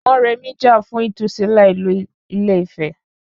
Mọrèmi jà fún ìtúsílẹ̀ ìlú Ile-Ife